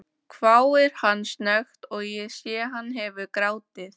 hváir hann snöggt og ég sé hann hefur grátið.